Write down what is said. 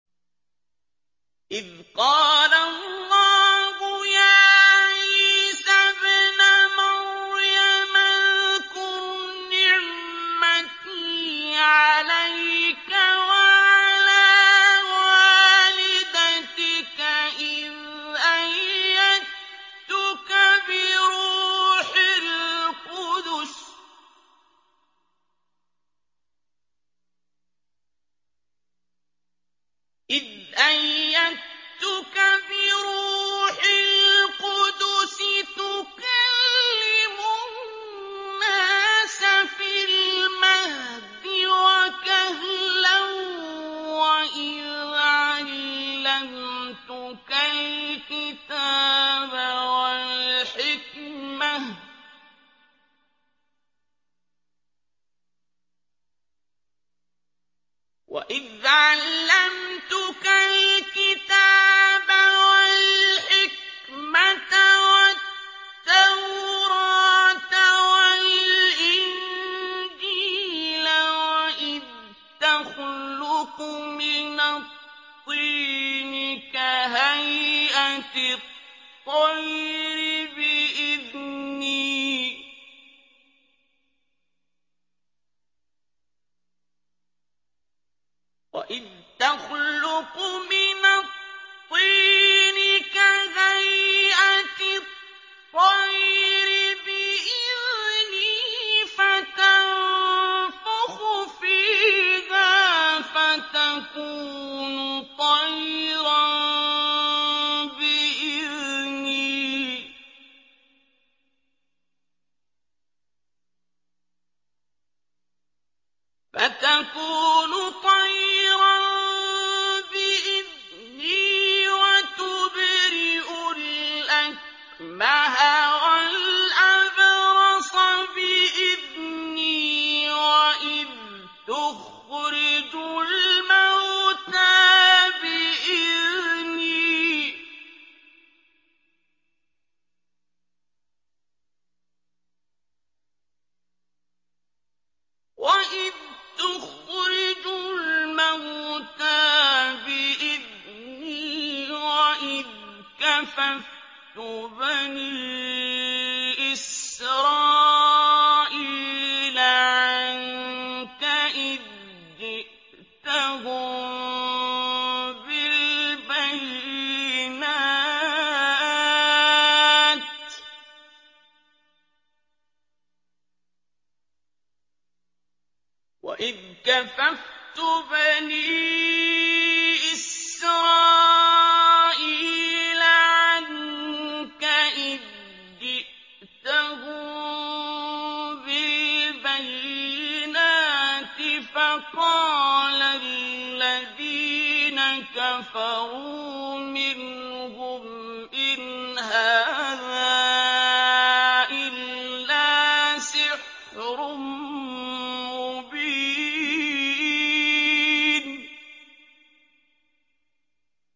إِذْ قَالَ اللَّهُ يَا عِيسَى ابْنَ مَرْيَمَ اذْكُرْ نِعْمَتِي عَلَيْكَ وَعَلَىٰ وَالِدَتِكَ إِذْ أَيَّدتُّكَ بِرُوحِ الْقُدُسِ تُكَلِّمُ النَّاسَ فِي الْمَهْدِ وَكَهْلًا ۖ وَإِذْ عَلَّمْتُكَ الْكِتَابَ وَالْحِكْمَةَ وَالتَّوْرَاةَ وَالْإِنجِيلَ ۖ وَإِذْ تَخْلُقُ مِنَ الطِّينِ كَهَيْئَةِ الطَّيْرِ بِإِذْنِي فَتَنفُخُ فِيهَا فَتَكُونُ طَيْرًا بِإِذْنِي ۖ وَتُبْرِئُ الْأَكْمَهَ وَالْأَبْرَصَ بِإِذْنِي ۖ وَإِذْ تُخْرِجُ الْمَوْتَىٰ بِإِذْنِي ۖ وَإِذْ كَفَفْتُ بَنِي إِسْرَائِيلَ عَنكَ إِذْ جِئْتَهُم بِالْبَيِّنَاتِ فَقَالَ الَّذِينَ كَفَرُوا مِنْهُمْ إِنْ هَٰذَا إِلَّا سِحْرٌ مُّبِينٌ